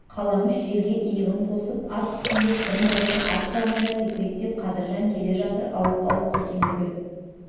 қаламүш желге иығын тосып ат үстінде қырын отыр арт жағында текіректеп қадыржан келе жатыр ауық-ауық үлкендігі